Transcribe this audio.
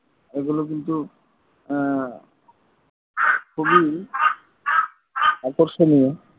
এগুলো কিন্তু খুবই আকর্ষণীয়